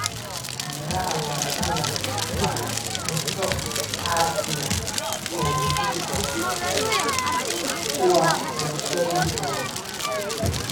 Miraha baradadha wa cunto aasaasi oo muhiim ah kwa bulshooyin wengi.